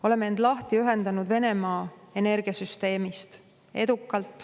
Oleme end edukalt lahti ühendanud Venemaa energiasüsteemist.